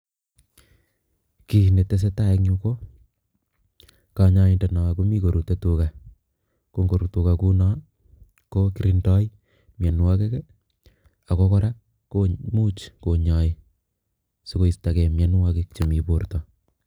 Kiiy ne tesetai eng yu, ko kanyaindet no komi korutei tuga, ko ngorut tuga kouno ko kirindoi mianwokik ako kora komuch konyai sikoistokei mianwokik chemi borto.